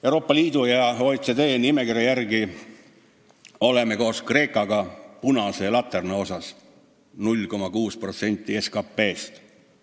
Euroopa Liidu ja OECD nimekirja järgi oleme koos Kreekaga punase laterna osas – 0,6% SKT-st.